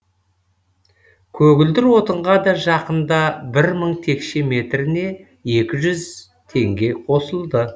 көгілдір отынға да жақында бір мың текше метріне екі жүз теңге қосылды